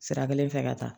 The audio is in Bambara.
Sira kelen fɛ ka taa